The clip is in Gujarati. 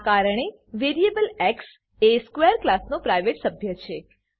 આ કારણે વેરીએબલ એક્સ એ સ્ક્વેર ક્લાસનો પ્રાઇવેટ સભ્ય છે